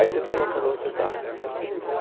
Aí você tem noção de onde você está, né?